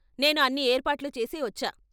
నేను అన్ని ఏర్పాట్లు చేసే వచ్చా.